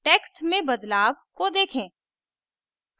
text में बदलाव को देखें